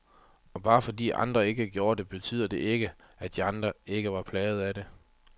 Og bare fordi andre ikke gjorde det, betyder det ikke, at de ikke var plagede af det.